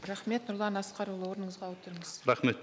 рахмет нұрлан асқарұлы орныңызға отырыңыз рахмет